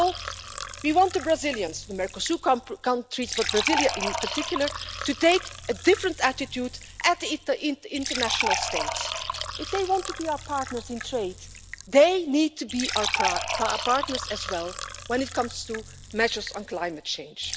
First of all, we want the Brazilians the Mercosur countries, but Brasilia in particular to take a different attitude with the international states. If they want to be our partners in trade, they need to be our partners as well when it comes to measures on climate change.